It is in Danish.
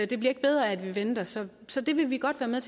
det bliver ikke bedre af at vi venter så så det vil vi godt være med